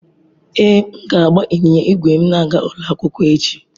Ee, m ga-agba ịnyịnya ígwè m na-aga ụlọ akwụkwọ echi.